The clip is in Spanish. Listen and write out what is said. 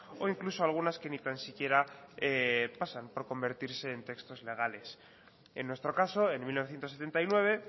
o incluso algunas que ni tan siquiera pasan por convertirse en textos legales en nuestro caso en mil novecientos setenta y nueve